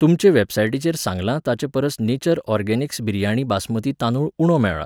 तुमचे वॅबसायटीचेर सांगलां ताचेपरस नेचर ऑरगॅनिक्स बिरयाणी बासमती तांदूळ उणो मेळ्ळा.